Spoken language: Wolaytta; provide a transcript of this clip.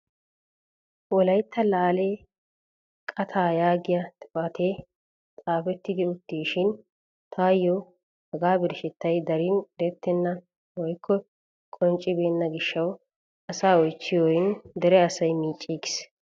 Wolaytta laale qaattaa yaagiyaa xifatee xaafetti uttisishin taayo haga birshshettay darin erettena woykko qonccibenna giishshawu asaa oychchiyorin dere asay miicciigis!